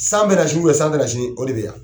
San bɛna sini san tɛna sini o de bɛ yan!